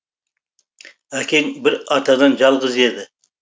әкең бір атадан жалғыз еді